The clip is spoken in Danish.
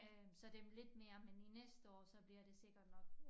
Øh så det lidt mere men i næste år så bliver det sikkert nok